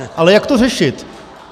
Ale jak to řešit?